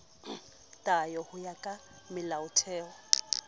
tayo ho ya ka melaotheo